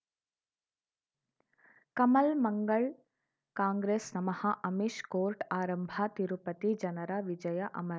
ಕಮಲ್ ಮಂಗಳ್ ಕಾಂಗ್ರೆಸ್ ನಮಃ ಅಮಿಷ್ ಕೋರ್ಟ್ ಆರಂಭ ತಿರುಪತಿ ಜನರ ವಿಜಯ ಅಮರ್